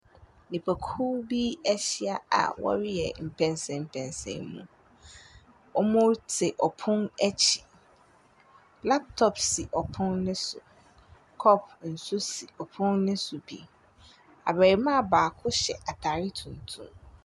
Nipakuo bi ahyia a wɔreyɛ mpɛnsɛmpɛnsɛmu. Wɔte pon akyi. Laptop si pono no so. Kɔpo nso si pono no so bi. Abarimaa baako hyɛ atadeɛ tuntum.